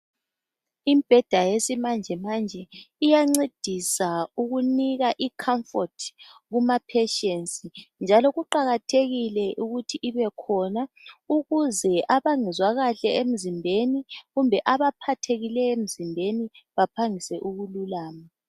Imibheda yesimanje manje iyancedisa ukunika i"comfort" kuma "patients" njalo kuqakathekile ukuthi ibekhona ukuze abangezwa kahle emzimbeni kumbe abaphathekileyo emzimbeni baphangise ukulukama.